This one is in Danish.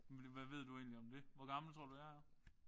Men hvad ved du egentlig om det? Hvor gammel tror du jeg er?